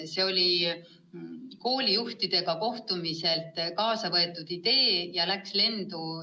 See oli koolijuhtidega kohtumiselt kaasa võetud idee ja läks lendu.